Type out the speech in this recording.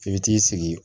F'i bɛ t'i sigi